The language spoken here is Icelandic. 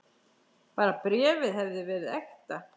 Bara bréfið hefði verið ekta!